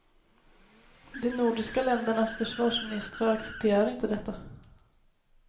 De nordiska ländernas försvarsministrar accepterar inte detta.